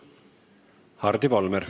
Hardi Volmer.